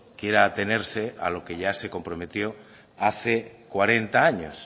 quiera atenerse a lo que ya se comprometió hace cuarenta años